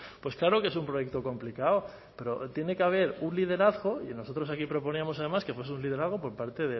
pues claro que es un proyecto complicado pero tiene que haber un liderazgo y nosotros aquí proponíamos además que fuese un liderazgo por parte